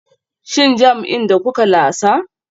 Shin jam'in da kuke lasa?